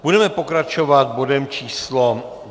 Budeme pokračovat bodem číslo